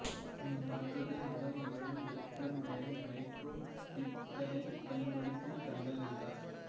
இம்மாற்றத்தை முதன் முதலில் Victor Meyer nitro ஈத்தேனைப் பயன்படுத்தி கண்டறிந்தார்